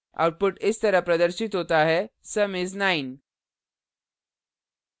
output इस तरह प्रदर्शित होता है sum is 9